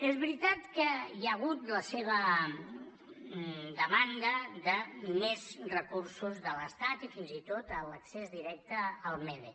és veritat que hi ha hagut la seva demanda de més recursos de l’estat i fins i tot l’accés directe al mede